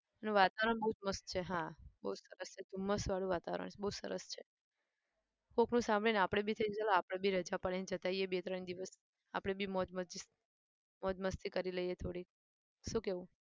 એનું વાતવરણ બહુ જ મસ્ત છે. હા બહુ જ સરસ છે ધુમસ વાળું વાતવરણ બહુ જ સરસ છે. કોઈકનું સાંભળીને આપણે બી થાય ચાલો આપણે બી રાજા પાડીને જતા આવીએ બે ત્રણ દિવસ આપણે બી મોજ મસ્તી મોજ મસ્તી કરી લઈએ થોડીક. શું કહેવું?